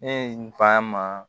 Ne ye n fa ma